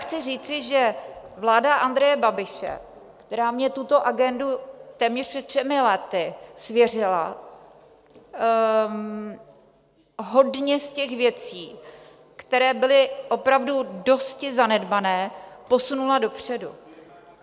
Chci říci, že vláda Andreje Babiše, která mně tuto agendu téměř před třemi lety svěřila, hodně z těch věcí, které byly opravdu dosti zanedbané, posunula dopředu.